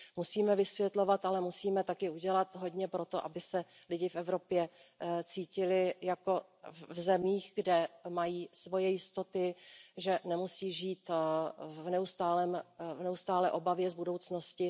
Musíme vysvětlovat, ale musíme také udělat hodně pro to, aby se lidé v Evropě cítili jako v zemích, kde mají svoje jistoty, že nemusí žít v neustálé obavě z budoucnosti.